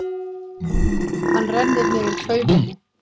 Hann rennir niður klaufinni.